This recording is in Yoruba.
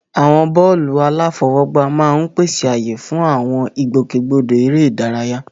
Àwọn pápá bọ́ọ̀lù aláfọwọ́gbá máa ń pèsè ààyè fún àwọn ìgbòkègbodò eré ìdárayá.